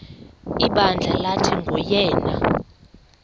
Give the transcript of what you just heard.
ibandla lathi nguyena